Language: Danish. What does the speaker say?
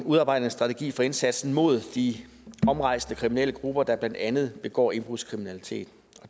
udarbejde en strategi for indsatsen mod de omrejsende kriminelle grupper der blandt andet begår indbrudskriminalitet